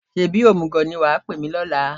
Ṣebí òmùgọ̀ ni wà á pè mí lọ́la?